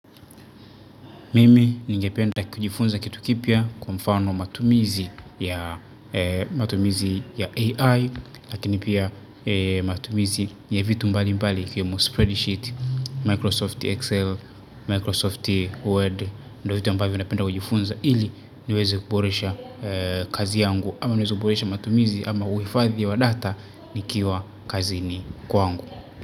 Mimi ningependa kujifunza kitu kipya kwa mfano matumizi ya AI lakini pia matumizi ya vitu mbali mbali ikiwemo spread sheet Microsoft Excel, Microsoft Word ndio vitu ambavyo napenda kujifunza ili niweze kuboresha kazi yangu ama niweze kuboresha matumizi ama uhifadhi wa data nikiwa kazini kwangu.